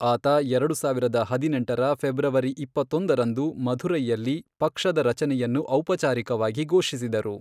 ಆತ ಎರಡುಸಾವಿರದ ಹದಿನೆಂಟರ ಫೆಬ್ರವರಿ ಇಪ್ಪತ್ತೊಂದರಂದು ಮಧುರೈಯಲ್ಲಿ ಪಕ್ಷದ ರಚನೆಯನ್ನು ಔಪಚಾರಿಕವಾಗಿ ಘೋಷಿಸಿದರು.